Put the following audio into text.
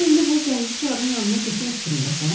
Sən indi bu zəngicarın yanına getmək fikrindəsən?